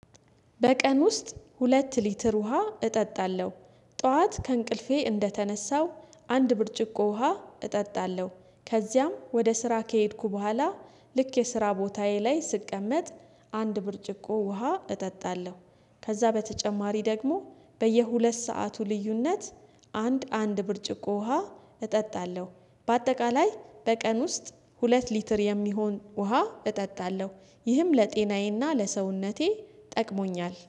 በቀን ውስጥ ሁለት ሊትር ውሃ እጠጣለሁ። ጠዋት ከእንቅልፌ እንደተነሳው አንድ ብርጭቆ ውሃ እጠጣለሁ ከዚያም ወደ ስራ ከሄድኩ በኋላ ልክ የስራ ቦታዬ ላይ ስቀመጥ አንድ ብርጭቆ ውሃ እጠጣለሁ ከዛ በተጨማሪ ደግሞ በየሁለት ሰዓቱ ልዩነት አንድ አንድ ብርጭቆ ውሃ እጠጣለሁ። በአጠቃላይ በቀን ውስጥ ሁለት ሊትር የሚሆን ውሃ እጠጣለሁ ይህም ለጤናዬና ለሰውነቴ ጠቅሞኛል